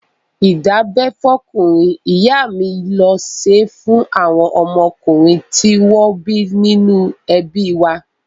Ìdábẹ́ fọ́kùnrin, ìyá mi ló ṣé fún àwọn ọmọkùnrin tí wọ́n bí nínú ẹbí wa.